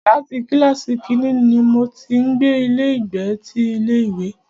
Láti kílàsì kínní ní mo ti ń gbé ilé ìgbé ti ilé ìwé.